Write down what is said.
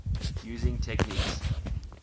using techniques